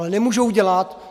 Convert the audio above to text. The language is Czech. Ale nemůžou dělat...